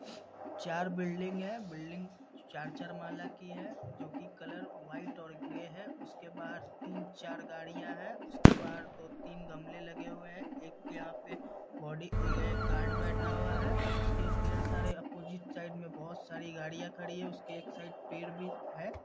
चार बिल्डिंग हैं बिल्डिंग चार-चार माला की है जो कि कलर वाइट और ग्रे है उसके बाहर तीन-चार गाड़ियाँ हैं उसके बाहर दो तीन गमले लगे हुए हैं एक के यहाँ पे बॉडी ऐ गार्ड बैठा हुआ है उसके ढेर सारे अपोजिट साइड में बहुत सारी गाड़ियाँ खड़ी हैं उसके एक साइड पेड़ भी है।